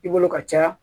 I bolo ka ca